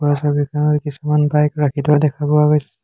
ওপৰৰ ছবিখনত কিছুমান বাইক ৰাখি থোৱা দেখা পোৱা গৈছ --